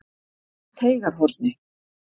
Teigarhorni